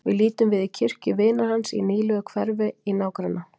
Við lítum við í kirkju vinar hans í nýlegu hverfi í nágranna